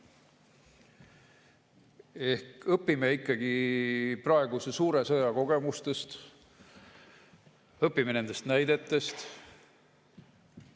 Ehk õpime ikkagi praeguse suure sõja kogemustest, õpime nendest näidetest.